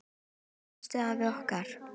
Elsku besti afi okkar.